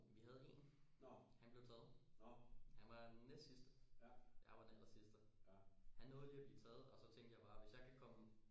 Vi havde en han blev taget han var den næstsidste jeg var den allersidste han nåede lige at blive taget og så tænkte jeg bare hvis jeg kan komme